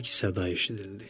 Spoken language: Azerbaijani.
Əks-səda eşidildi.